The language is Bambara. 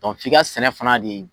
F'i ka sɛnɛ fana de